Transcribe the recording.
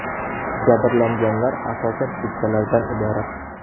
Jabrlanganlar asosan keksalardan iborat.